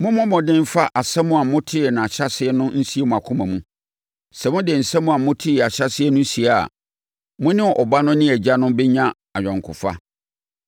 Mommɔ mmɔden mfa asɛm a motee ahyɛaseɛ no nsie mo akoma mu. Sɛ mode asɛm a motee ahyɛaseɛ no sie a, mo ne Ɔba no ne Agya no bɛnya ayɔnkofa.